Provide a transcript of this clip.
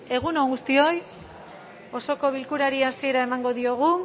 egun on guztioi osoko bilkurari hasiera emango diogu